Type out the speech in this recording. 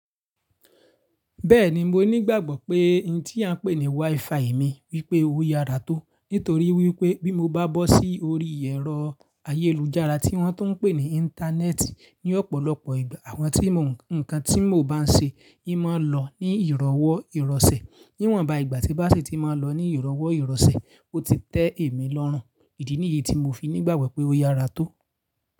Bẹ́ẹ̀ni, mo ní ìgbàgbọ́ pé ohun tí a ń pè ní WiFi mi wípé ó yára tó. Nítorí wípé bí mo bá bọ́ sí orí ẹ̀rọ ayélujára tí wọ́n tún ń pè ní Íńtánẹ́ẹ̀tì ní ọ̀pọ̀lọpọ̀ ìgbà, àwọn tí mo ń, ǹkan tí mo bá ń ṣe yí máa lọ ní ìrọ́wọ́ ìrọsẹ̀. Níwọ̀nba, ìgbà tí bá sì ti máa lọ ní ìrọ́wọ́ ìrọsẹ̀, ó ti tẹ́ èmi lọ́run. Ìdí nìyí tí mo fi nígbàgbọ́ pé ó yára tó.